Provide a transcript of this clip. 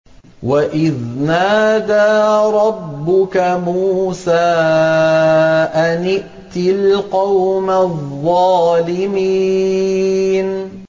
وَإِذْ نَادَىٰ رَبُّكَ مُوسَىٰ أَنِ ائْتِ الْقَوْمَ الظَّالِمِينَ